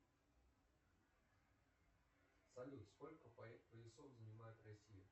салют сколько поясов занимает россия